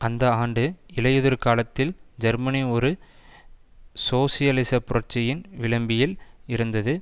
அந்த ஆண்டு இலையுதிர்காலத்தில் ஜெர்மனி ஒரு சோசியலிச புரட்சியின் விளிம்பில் இருந்தது